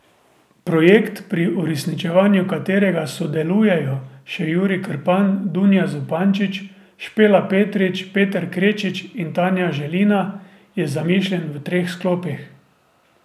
Projekt, pri uresničevanju katerega sodelujejo še Jurij Krpan, Dunja Zupančič, Špela Petrič, Peter Krečič in Tanja Želina, je zamišljen v treh sklopih.